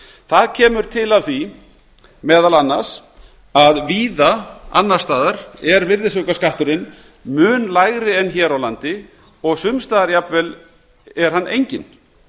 það kemur til af því meðal annars að víða annars staðar er virðisaukaskatturinn mun lægri en hér á landi og sums staðar jafnvel enginn